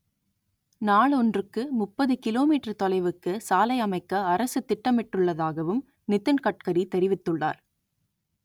நாள் ஒன்றுக்கு முப்பது கிலோ மீட்டர் தொலைவுக்கு சாலை அமைக்க அரசு திட்டமிட்டுள்ளதாகவும் நிதின் கட்கரி தெரிவித்துள்ளார்